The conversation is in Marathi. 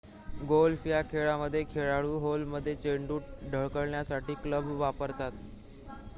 गॉल्फ या खेळामध्ये खेळाडू होलमध्ये चेंडू ढकलण्यासाठी क्लब वापरतात